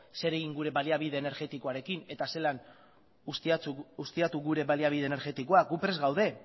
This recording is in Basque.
zer egin gure baliabide energetikoaren eta zelan ustiatu gure baliabide energetikoak gu prest gaude